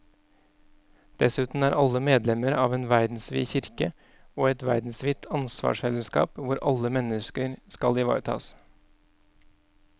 Dessuten er alle medlemmer av en verdensvid kirke og et verdensvidt ansvarsfellesskap hvor alle mennesker skal ivaretas.